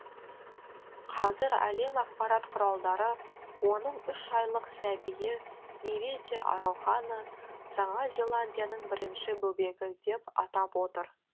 қазір әлем ақпарат құралдары оның үш айлық сәбиі неве те ароханы жаңа зеландияның бірінші бөбегі деп атап отыр